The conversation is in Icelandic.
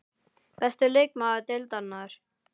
Besti leikmaður Deildarinnar?